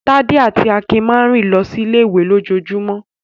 Tádé àti Akin máa ń rìn lọ sí ilé-ìwé lójoojúmọ́.